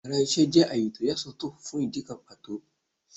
Íyarà iṣẹ jẹ àyè tọ́ ya sọ́tò fún idikán pató